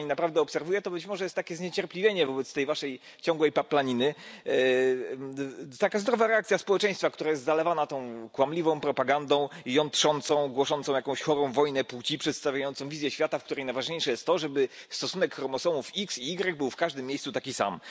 To, co Pani naprawdę obserwuje, to być może jest takie zniecierpliwienie wobec tej waszej ciągłej paplaniny, taka zdrowa reakcja społeczeństwa, które jest zalewane tą kłamliwą propagandą, jątrzącą, głoszącą jakąś chorą wojnę płci, przedstawiającą wizję świata, w której najważniejsze jest to, żeby stosunek chromosomów X i Y był w każdym miejscu taki sam.